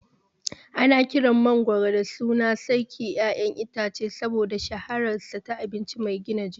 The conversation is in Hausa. Ana kiran mangwaro da sunan "Sarkin ƴaƴan itace" saboda shahararsa ta abinci mai gina jiki.